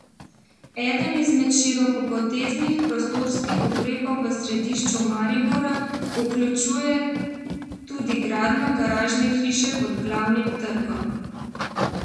Eden izmed širokopoteznih prostorskih ukrepov v središču Maribora vključuje tudi gradnjo garažne hiše pod Glavnim trgom.